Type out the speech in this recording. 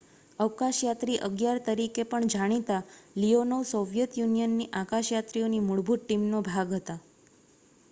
"""અવકાશયાત્રી 11" તરીકે પણ જાણીતા લીયોનોવ સોવિયેત યુનિયનની અવકાશયાત્રીઓની મૂળભૂત ટીમનો ભાગ હતા.